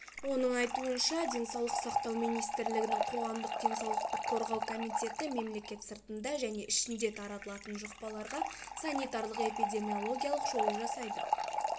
оның айтуынша денсаулық сақтау министрлігінің қоғамдық денсаулықты қорғау комитеті мемлекет сыртында және ішінде таралатын жұқпаларға санитарлық эпидемиологиялық шолу жасайды